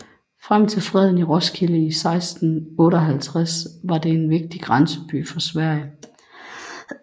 Frem til freden i Roskilde i 1658 var det en vigtig grænseby for Sverige